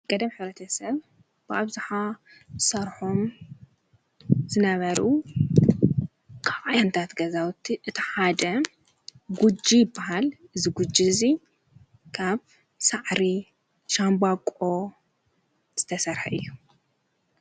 ቀደም ኅረተ ሰብ ብኣብ ዝኃ ሠርሖም ዝነበሩ ኣያንታት ገዛውት እቲሓደ ጕጅ በሃል ዝጕጅእዙ ካብ ሣዕሪ ሻምባቆ ዝተሠርሐ እይ።